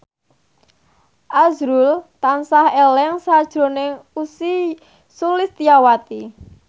azrul tansah eling sakjroning Ussy Sulistyawati